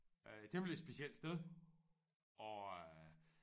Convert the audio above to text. Øh temmelig specielt sted og øh